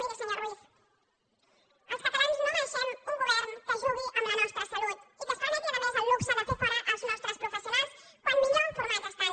miri senyor ruiz els catalans no mereixem un govern que jugui amb la nostra salut i que es permeti a més el luxe de fer fora els nostres professionals quan millor formats estan